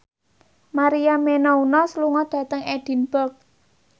Maria Menounos lunga dhateng Edinburgh